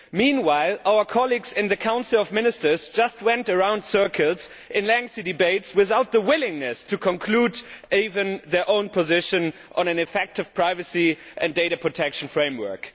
Meanwhile, our colleagues in the Council of Ministers just went around in circles and in lengthy debates, without the willingness to determine even their own position on an effective privacy and data protection framework.